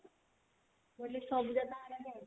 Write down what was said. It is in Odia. ମୁଁ କହିଲି ସବୁଯାକ ଆଉ